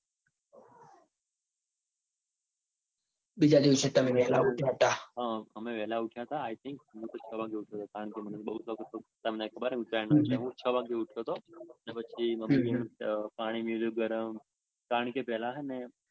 બીજા દિવસે તમે વેળા ઉઠ્યા તા. હમ અમે વેલા ઉઠ્યા તા i think હું છ વાગે ઉઠ્યો તો. કારણકે મને બૌ શોખ છે ઉત્તરાયણનો તમને ખબર જ છે એટલે હું છ વાગે ઉઠ્યો તો ને પછી પાણી મૂક્યું ગરમ કારણકે પેલા હ ને તે